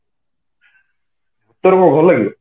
ତତେ କଣ ଭଲ ଲାଗେ